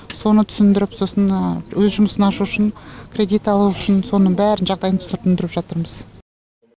соны түсіндіріп сосын өз жұмысын ашу үшін кредит алу үшін соның бәрін жағдайын түсіндіріп жатырмыз